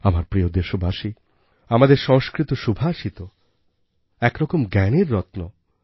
আমার প্রিয় দেশবাসী আমাদের সংস্কৃত সুভাষিত এক রকম জ্ঞানের রত্ন